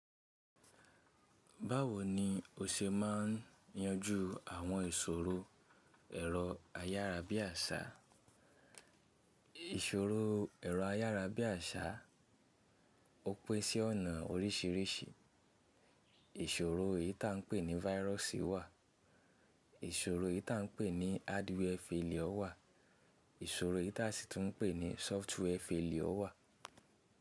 Báwo ni o ṣe máa ń yanjú àwọn ìṣòro ẹ̀rọ ayárabíàṣá? Ìṣòro ẹ̀rọ ayárabíàṣá ó pin sí ọ̀nà oríṣìíríṣìí. Ìṣòro eyi tí a ń pè ní váírọ̀sì wà, ìṣòro tí a ń pè ní hádiwiẹ faliọ wà, ìṣòro tí a sì tún pè ní sọ́ftíwiẹ faliọ wà.